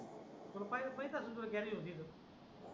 तू पहिल पाहिला असेल गॅरेज होत तिथे